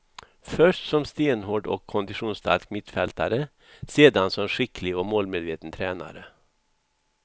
Först som stenhård och konditionsstark mittfältare, sedan som skicklig och målmedveten tränare.